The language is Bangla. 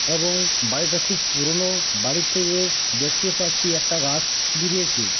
এবং বাড়িটা খুব পুরোনো। বাড়ির থেকে দেখতে পাচ্ছি একটা গাছ বেরিয়েছে ।